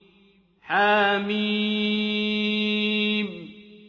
حم